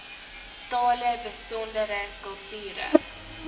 tale besondere kulture